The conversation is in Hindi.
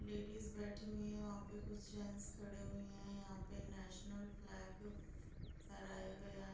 लेडीज बैठी हुई है वहाँ पे कुछ जेंट्स खड़े हुए है | यहाँ पे नेशनल फ्लैग फहराया गया है ।